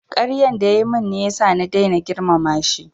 Karyan da ya yi min ne ya sa na daina girmama shi